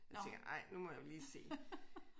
Jeg tænker ej nu må jeg jo lige se